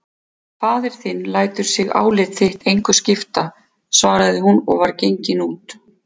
Faðir þinn lætur sig álit þitt engu skipta, svaraði hún og var gengin út.